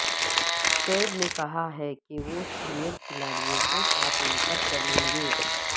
شعیب نے کہا ہے کہ وہ سینئر کھلاڑیوں کو ساتھ لے کر چلیں گے